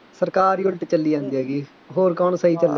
ਸਰਕਾਰ ਹੀ ਉਲਟ ਚੱਲੀ ਜਾਂਦੀ ਹੈਗੀ, ਹੋਰ ਕੌਣ ਸਹੀ ਚੱਲੇਗਾ।